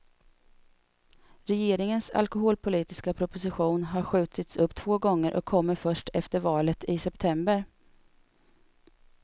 Regeringens alkoholpolitiska proposition har skjutits upp två gånger och kommer först efter valet i september.